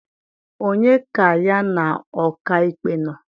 onye ka ya na ọka ikpe nọ?